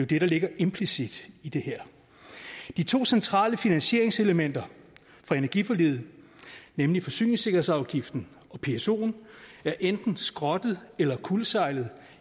det der ligger implicit i det her de to centrale finansieringselementer for energiforliget nemlig forsyningssikkerhedsafgiften og psoen er enten skrottet eller kuldsejlet